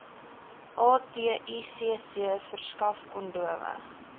aticc verskaf kondome